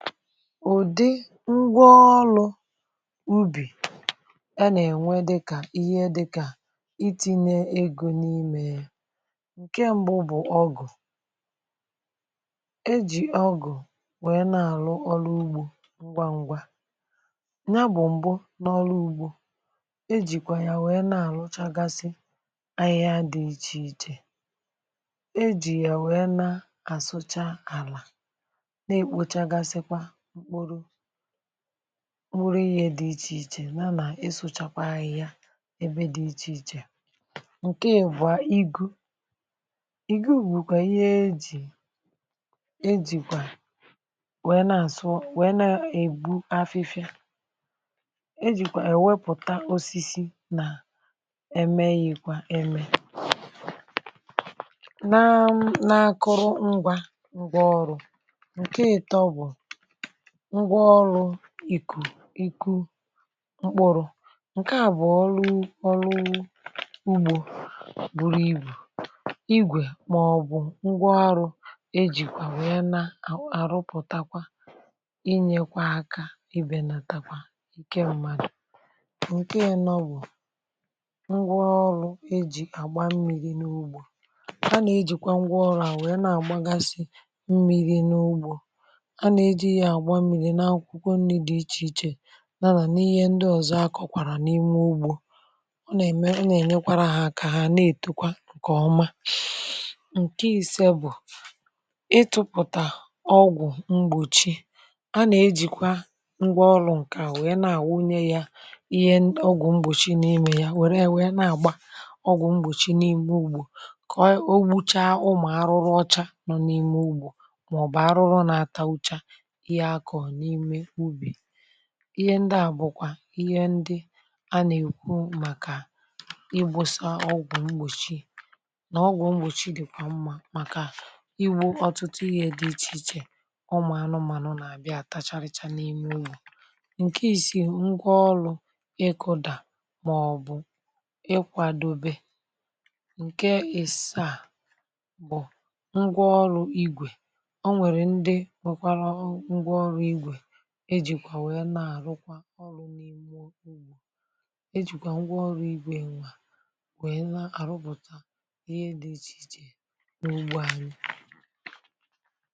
ụ̀dị ngwa ọrụ ubì a nà-ènwe, dịkà ihe dịkà iti̇nye egȯ n’imė yȧ. ǹke m̀bụ bụ̀ ọgụ̀ e jì ọgụ̀, nwèe na-àrụ ọrụ ugbȯ ngwaǹgwa. nya bụ̀ m̀gbè n’ọrụ ugbȯ, e jìkwà yà, nwèe na-àrụchagasi ahịhịa dị̇ ichè ichè. e jì yà, nwèe na-àsụcha àlà, n’uru ihe dị ichè ichè, nà nà ịsụ̇chakwa ahịhịa ebe dị ichè ichè. ǹke à bụ̀a, igu ìgugwu̇, kwà ihe e jì, e jìkwà wee na àsụ, wee na ègbu afịfịa. e jìkwà è wepụ̀ta osisi, nà emeghìkwa eme nà akụrụ ngwȧ ngwȧ ọrụ̇. ǹgwaọrụ ikù iku mkpụrụ, ǹke à bụ̀ ọlụ ọlụ ugbȯ, buru ibù igwè, màọbụ̀ ngwa arụ̇ e jìkwà, nwè ya, na àrụpụ̀takwa, inyekwa akȧ, i benatakwa ǹke mmadụ̀. ǹke nọ bụ̀ ngwa ọlụ e jì àgba mmiri̇ n’ugbȯ. a nà-ejìkwa ngwa ọlaà, nwèe na-àgbagasị mmiri̇ n’ugbȯ, na akwụkwọ nni dị iche iche, n’anà n’ihe ndị ọzọ akọkwàrà n’ime ugbȯ. ọ nà-ème, ọ nà-ènyekwara hȧ aka, ha na-ètekwa ǹkè ọma. ǹke isie bụ̀ ịtụpụ̀tà ọgwụ̀ mgbòchi. a nà-ejìkwa ngwa ọrụ̇ ǹkè a, wee na-àwụnye ya ihe ọgwụ̀ mgbòchi, na-ime ya, wère wee na-àgba ọgwụ̀ mgbòchi n’ime ugbȯ, kà o gbuchaa ụmụ̀ arụrụ ọcha nọ̀ n’ime ugbȯ. ihe ndị à bụ̀kwà ihe ndị a nà-èkwu, màkà igbȯsa ọgwụ̀ mgbòchi, nà ọgwụ̀ mgbòchi dị̀ kwà mmȧ, màkà iwu̇ ọtụtụ ihe dị ichè ichè. um ụmụ̀ anụmanụ nà-àbịa tacharịcha n’ime unù. ǹke isi ngwa ọrụ, ịkụ̇dà màọ̀bụ̀ ịkwàdobe, ǹke ị̀sàà bụ̀ ngwa ọrụ igwè, e jìkwà wèe na-àrụkwa ọrụ̇ n’imụ ugbȯ. e jìkwà ngwa ọrụ̇ igwė nwa, wèe na-àrụpụ̀ta ihe dị̇ ichè n’ugbȯ anyị.